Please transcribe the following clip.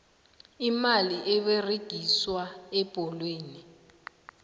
imali eberegiswa ebholweni